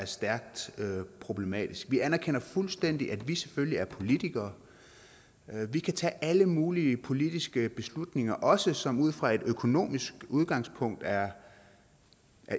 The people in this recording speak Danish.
stærkt problematisk vi anerkender fuldstændig at vi selvfølgelig er politikere vi kan tage alle mulige politiske beslutninger også som ud fra et økonomisk udgangspunkt er